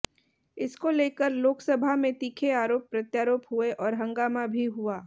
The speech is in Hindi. इसको लेकर लोकसभा में तीखे आरोप प्रत्यारोप हुए और हंगामा भी हुआ